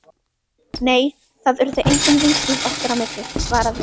Nei, það urðu engin vinslit okkar á milli- svaraði